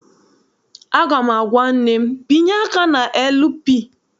Aga m agwa nne m, binye aka na LP!